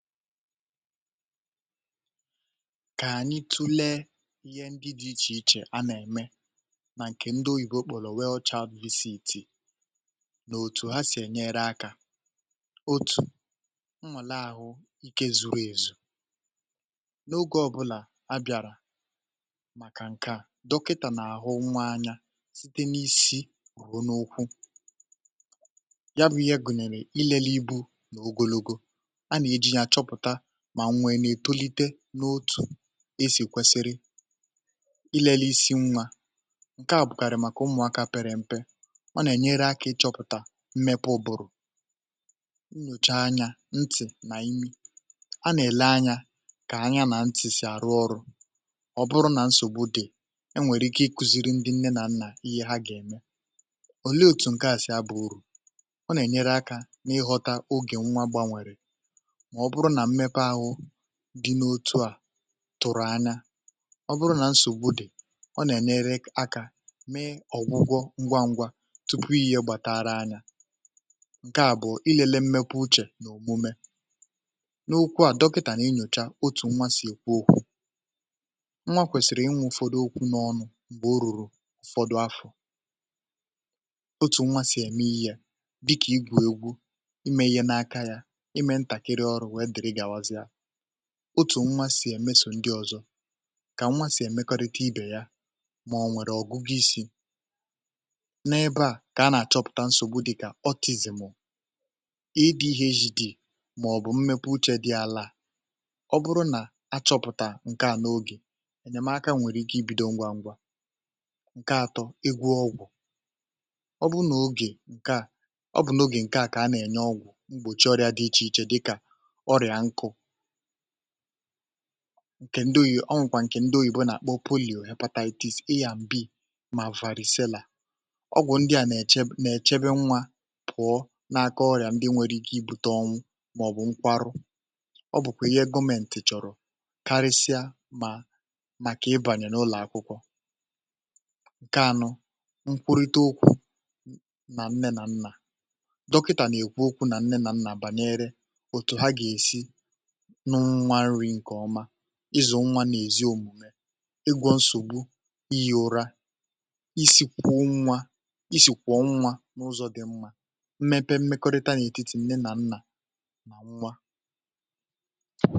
Kà ànyị tụlee um ihe ndị dị ichè ichè a nà-eme n’ìkè ndị oyibo kpụ̀lò um weghọ̀chà BCG nà òtù ha sì ènyere akà otu ọnwà la àhụ ike zụrụ èzù n’oge ọ̀bụ̀là a bịàrà maka nke à dọkịtà nà-àhụ nwa anya site n’isi wùro n’okwu ya um bụ̀ ihe gụ̀nyèrè ilele ibu nà ogologo n’otù esì kwesiri ilělè isi nwà nke à bụ̀kàrị̀ maka ụmụ̀akȧ pere mpe ọ nà-ènyere akà ịchọpụ̀tà mmepe ụ̀bụ̀rụ̀ nyòcha anyà ntị̀ nà imi a nà-ele anya kà anya nà ntị̀ sì arụ ọrụ ọ bụrụ nà nsògbu dị̀ e nwèrè ike ịkuziri ndị nne nà ihe ha gà-ème ọ leetu um nke à si abụ̀ urù ọ nà-ènyere akà n’ịghọta ogè nwa gbanwèrè dị n’otu à tụrụ̀ anya ọ bụrụ nà nsògbu dị̀ ọ nà-ènyere akà mee ọ̀gwụgwọ ngwa ngwa tupu ihe gbàtara anya nke à bụ̀ ilele mmepe uchè n’òmume n’okwu à dọpịtà nà-inyòcha otù nwa sì èkwu okwu um nwa kwèsìrì ịnwụ̀ ụfọdụ okwu n’ọnụ m̀gbè o rùrù ụ̀fọdụ afọ um otu nwa sì ème ihe yà dịkà igwù egwu ime ihe n’aka ya otu nwa sì èmesò ndị ọzọ um kà nwa sì èmekọrịtị ibè ya mà ọ nwèrè ọ̀gụ gị isi n’ebe à kà a nà-achọpụta nsògbu dị kà ọ tizìmọ̀ ịdị ihe eji dịì um màọ̀bụ̀ mmepụ uche dị ala ọ bụrụ nà achọpụ̀tà nke à n’ogè ènyèmaka nwèrè ike ibido ngwa ngwa nke atọ, egwu ọgwụ̀ ọ bụrụ nà ogè nke à ọ bụ̀ n’ogè nke à kà a nà-ènye ọgwụ̀ mgbòchi ọrịa dị ichè ichè dịkà nke ndị oyibo ọ nwèkwà nke ndị oyibo bụ nà-àkpa o pụ̀lị̀ oyè appendictis ị yà m̀bi mà varìselà ọgwụ̀ ndị à nà-èche nà-èchebe nwa pụ̀ọ na-akọ ọrị̀à ndị nwèrè ike ibute ọnwụ màọ̀bụ̀ nkwarụ ọ bụ̀kwà ihe gọmentì chọ̀rọ̀ karịsịa mà maka ibànyè n’ụlọ̀ akwụkwọ nke anọ nkwurute ụkwụ nà nne nà nnà dọkịtà nà-èkwu ụkwụ nà nne nà nnà bànyere ịzụ̀ nwa nà-èzi omùme egwȯ nsògbu ịyà ụra isi kwụọ nwa isi kwụọ nwa n’ụzọ̀ dị mmȧ mmepe mmekọrịta n’ètitì nne nà nnà nwa.